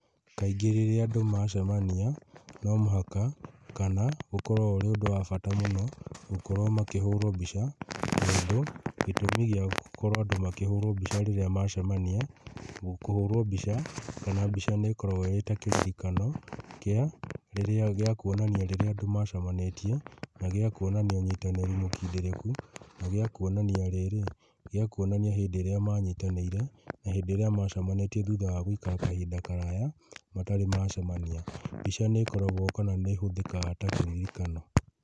Kaingĩ rĩrĩa andũ macemania no mũhaka kana ũkoragwo ũrĩ ũndũ wa bata mũno, gũkorwo makĩhũrwo mbica, tondũ gĩtũmi gĩa gũkorwo andũ makĩhũrwo mbica rĩrĩa macemania, kũhũrwo mbica kana mbica nĩkoragwo ĩtakĩririkano kĩa rĩrĩa gĩakuonania rĩrĩa andũ macemanĩtie na gĩa kuonania ũnyitanĩri mũkindĩrĩku na gĩa kuonania rĩrĩ, gĩa kuonania hĩndĩ ĩrĩa manyitanĩire, na hĩndĩ ĩrĩa macemanĩtie thutha wa gũikara kahinda karaya matarĩ macemania. Mbica nĩkoragwo kana nĩhũthĩkaga ta kĩririkano.